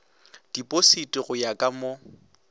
dipositi go ya ka mo